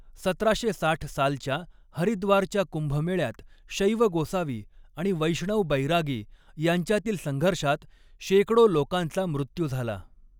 सतराशे साठ सालच्या हरिद्वारच्या कुंभमेळ्यात शैव गोसावी आणि वैष्णव बैरागी यांच्यातील संघर्षात शेकडो लोकांचा मृत्यू झाला.